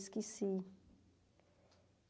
Esqueci.